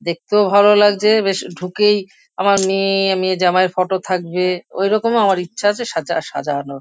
দেখতেও ভালো লাগছে। বেশ ঢুকেই আমার মেয়ে মেয়ে জামাইয়ের ফটো থাকবে। ঐরকম আমার ইচ্ছা আছে সাজা সাজানোর।